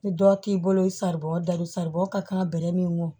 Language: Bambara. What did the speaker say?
Ni dɔ k'i bolo saribɔn dalon saribɔn ka kan bɛrɛ min kɔ